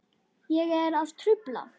Er ég að trufla?